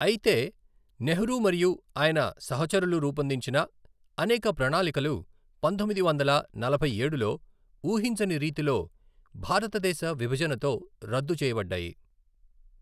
అయితే, నెహ్రూ మరియు ఆయన సహచరులు రూపొందించిన అనేక ప్రణాళికలు పంతొమ్మిది వందల నలభైఏడులో ఊహించని రీతిలో భారతదేశ విభజనతో రద్దు చేయబడ్డాయి.